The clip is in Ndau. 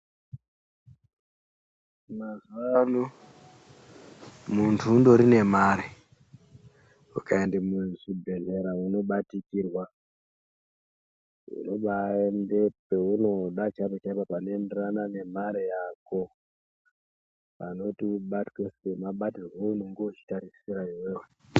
Mazuvano, muntu undori nemare, ukaende muzvibhedhlera unobatikirwa. Unobaende peunoda chaipo-chaipo panoenderana nemare yako, panoite kuti ubatwe semabatirwe aunenge uchitarisira iwewe.